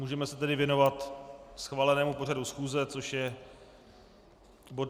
Můžeme se tedy věnovat schválenému pořadu schůze, což je bod